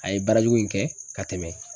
A ye baarajugu in kɛ ka tɛmɛ.